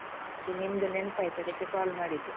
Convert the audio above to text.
ಮತ್ತೆ ನಿಮ್ದು ನೆನ್ಪಾಯ್ತು. ಅದಕ್ಕೆ call ಮಾಡಿದ್ದು.